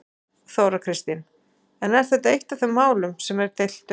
Þóra Kristín: En er þetta eitt af þeim málum sem er deilt um?